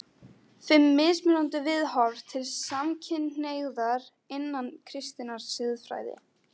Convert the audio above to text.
FIMM MISMUNANDI VIÐHORF TIL SAMKYNHNEIGÐAR INNAN KRISTINNAR SIÐFRÆÐI